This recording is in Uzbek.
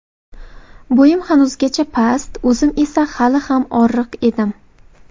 Bo‘yim hanuzgacha past, o‘zim esa hali ham oriq edim.